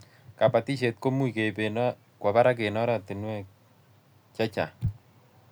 Kabatishet ko much ke ib kwo barak eng' oratinwek che chang'